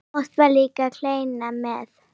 Oft var líka kleina með.